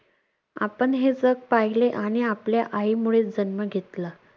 आपण हे जग पाहिले आणि आपल्या आईमुळे जन्म घेतला.